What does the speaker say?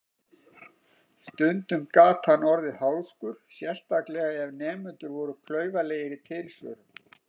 Stundum gat hann orðið háðskur, sérstaklega ef nemendur voru klaufalegir í tilsvörum.